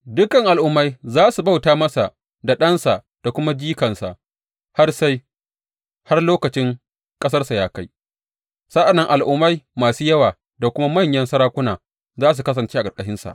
Dukan al’ummai za su bauta masa da ɗansa da kuma jikansa har sai har lokacin ƙasarsa ya kai; sa’an nan al’ummai masu yawa da kuma manyan sarakuna za su kasance a ƙarƙashinsa.